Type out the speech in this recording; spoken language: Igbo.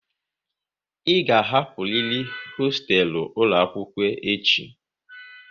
Ị ga hapụriri hoostelu ụlọ akwụkwọ echi!